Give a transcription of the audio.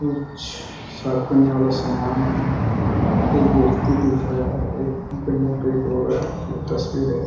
कुछ साफ करने वाला सामान है एक व्यक्ति देख रहा है एक बैनर एक औरत तस्वीरें--